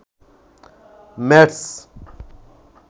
mats